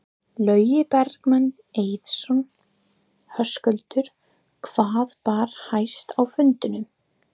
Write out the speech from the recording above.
Logi Bergmann Eiðsson: Höskuldur hvað bar hæst á fundinum?